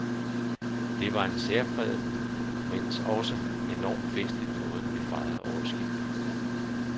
Det var en særpræget, mens også enormt festlig måde, vi fejrede årsskiftet på.